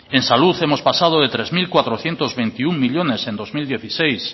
en salud hemos pasado de tres mil cuatrocientos veintiuno millónes en dos mil dieciséis